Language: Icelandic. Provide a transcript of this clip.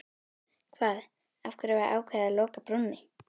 Hvað, af hverju var ákveðið að loka brúnni?